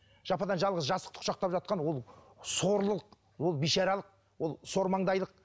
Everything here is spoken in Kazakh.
жападан жалғыз жастықты құшақтап жатқан ол сорлылық ол бейшаралық ол сормаңдайлық